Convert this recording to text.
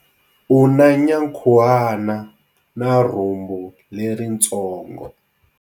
U na nyankhuhana na rhumbu leritsongo.